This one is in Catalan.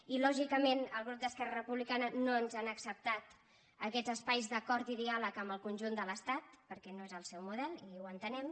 i lògicament el grup d’esquerra republicana no ens ha acceptat aquests espais d’acord i diàleg amb el con·junt de l’estat perquè no és el seu model i ho entenem